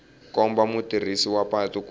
komba mutirhisi wa patu ku